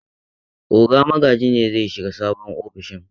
Oga Magaji ne zai shiga sabon ofishin.